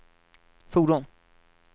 fordon